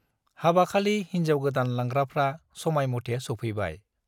हाबाखालि हिन्जाव गोदान लांग्राफ्रा समायमथे सौफैबाय।